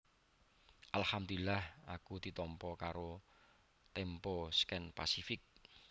Alhamdulillah aku ditompo karo Tempo Scan Pasific